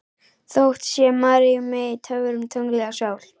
Þökk sé Maríu mey, töfrum, tungli og sól.